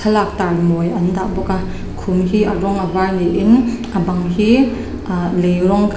thlalak tar mawi an dah bawk a khum hi a rawng a var ni in a bang hi ahh lei rawng--